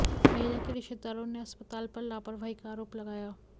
महिला के रिश्तेदारों ने अस्पताल पर लापरवाही का आरोप लगाया